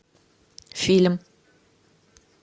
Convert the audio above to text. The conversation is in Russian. фильм